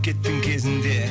кеттің кезінде